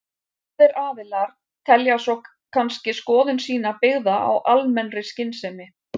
Báðir aðilar telja svo kannski skoðun sína byggða á almennri skynsemi.